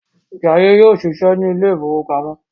Jaiye yóò ṣiṣẹ ní ilè ìfowópamọ́